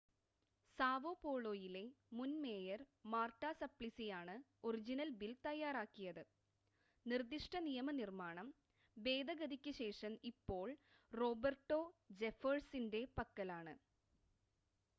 Sao പോളോയിലെ മുൻ mayor Marta സപ്ലിസിയാണ് ഒറിജിനൽ ബിൽ തയ്യാറാക്കിയത് നിർദ്ദിഷ്‌ട നിയമനിർമ്മാണം ഭേദഗതിക്ക് ശേഷം ഇപ്പോൾ റോബർട്ടോ ജെഫേഴ്സൻ്റെ പക്കലാണ്